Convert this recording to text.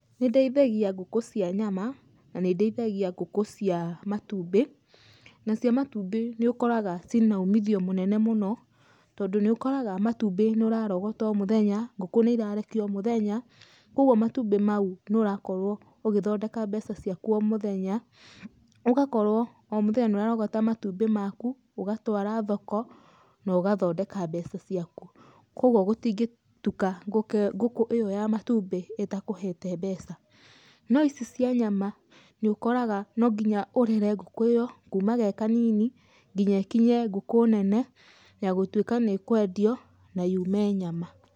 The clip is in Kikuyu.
Nĩ ndeithagia ngũkũ cia nyama, na nĩ ndeithagia ngũkũ cia matumbĩ. Na cia matumbĩ nĩ ũkoraga cina umithio mũnene mũno, tondũ nĩ ũkoraga matumbĩ nĩ ũrarogota o mũthenya, ngũkũ nĩ irarekia o mũthenya, kogwo matumbĩ mau nĩ ũrakorwo ũgĩthondeka mbeca ciaku o muthenya, ũgakorwo o mũthenya nĩ ũrarogota matumbĩ maku, ũgatwara thoko na ũgathondeka mbeca ciaku. Kogwo gũtingĩtuka ngũkũ ĩyo ya matumbĩ ĩtakũhete mbeca. No ici cia nyama, nĩ ũkoraga no nginya ũrere ngũkũ ĩyo kuma ge kanini, nginya ĩkinyie ngũkũ nene ya gũtũika nĩ ĩkwendio, na yume nyama.